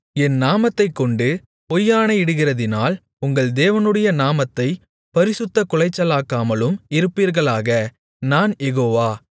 என் நாமத்தைக்கொண்டு பொய்யாணையிடுகிறதினால் உங்கள் தேவனுடைய நாமத்தைப் பரிசுத்தக் குலைச்சலாக்காமலும் இருப்பீர்களாக நான் யெகோவா